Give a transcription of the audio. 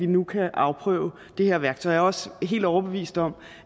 nu kan afprøve det her værktøj jeg er også helt overbevist om